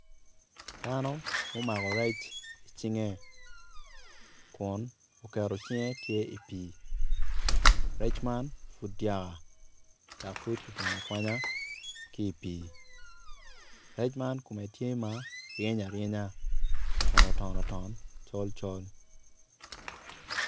Dano ma omako rec icinge ku oketo cinge tye i pii rec man pud dyaka dok pud kikwanyo akwanya ki i pii rec man kome tye ma ryeny aryenya kun oton oton col col.